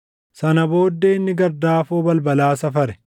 Sana booddee inni gardaafoo balbalaa safare;